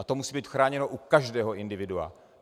A to musí být chráněno u každého individua.